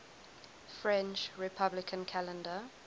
french republican calendar